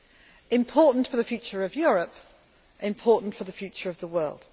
This is important for the future of Europe and important for the future of the world.